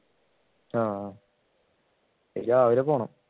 ആഹ് രാവിലെ പോണം